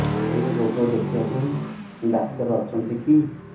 ଏଇ ରୋଗ ଦେଖିବା ପାଇଁ ଡ଼ାକ୍ତର ଅଛନ୍ତି କି